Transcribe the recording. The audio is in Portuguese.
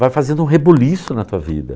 Vai fazendo um rebuliço na tua vida.